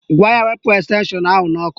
Gwa ya wepụ estenshọn ahụ n'ọkụ